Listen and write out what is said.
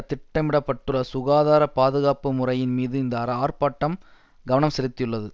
திட்டமிட பட்டுள்ள சுகாதார பாதுகாப்பு முறையின் மீது இந்த அர ஆர்ப்பாட்டம் கவனம் செலுத்தியுள்ளது